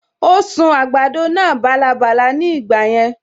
Ó sun àgbàdo náà bálabàla ní ìgbà yẹn